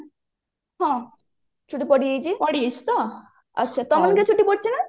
ହଁ ଛୁଟି ପଡି ଯାଇଛି ହଁ ଆଚ୍ଛା ତମର ବି ଛୁଟି ପଡିଛି ନା